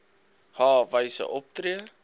h wyse optree